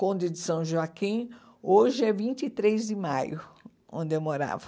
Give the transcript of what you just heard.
Conde de São Joaquim, hoje é vinte e três de maio, onde eu morava.